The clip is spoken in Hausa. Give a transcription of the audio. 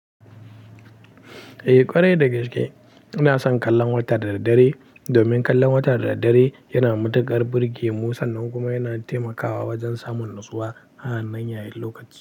Eh ƙwarai da gaske ina son kallon wata da daddare, domin kallon wata da daddare yana matuƙar burge musa. Nan kuma yana taimakawa wajen samun natsuwa a wannan yayin lokaci.